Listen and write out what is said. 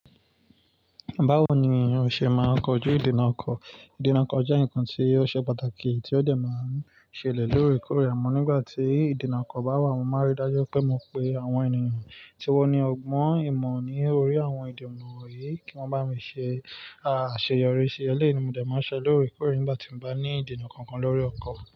Báwo ni èèyàn ṣe máa ń kojú ìdènà ọkọ̀? Ìdènà ọkọ̀ jẹ́ ǹkan tí ó ṣe pàtàkì tí ó dẹ máa ń ṣẹlẹ̀ lóríe kórè amọ́ nígbà tí ìdènà ọkọ̀ bá wà. Mo máa rí dájú pé mo pe àwọn ènìyàn tí wọ́n ní ọgbọ́n ìmọ̀ ní orí àwọn ìdènà wọ̀nyí kí wọ́n bá mi ṣe àṣeyọrí ìṣẹ̀lẹ̀ ni mo dà máa ń ṣe lórí ìkórè nígbà tí mo bá ní ìdènà kankan lórí ọkọ̀.